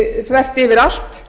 þvert yfir allt